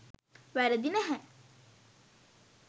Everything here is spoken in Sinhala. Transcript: වැරදි නැහැ.